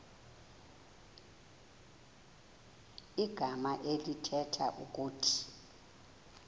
igama elithetha ukuba